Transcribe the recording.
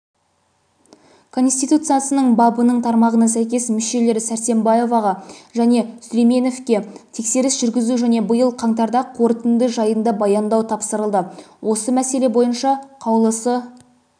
конституциясының бабының тармағына сәйкес мүшелері сәрсембаевақа және сүлейменовке тексеріс жүргізу және биыл қаңтарда қорытынды жайында баяндау тапсырылды осы мәселе бойынша қаулысы